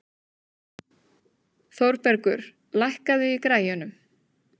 Þórbergur, lækkaðu í græjunum.